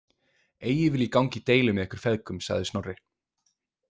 Eigi vil ég ganga í deilu með ykkur feðgum, sagði Snorri.